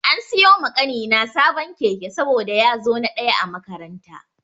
An siyo ma ƙanina sabon keke saboda ya zo na ɗaya a makaranta.